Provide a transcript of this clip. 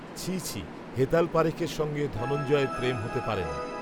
ছিঃ ছিঃ, হেতাল পারেখের সঙ্গে, ধনঞ্জয়ের প্রেম হতে পারে না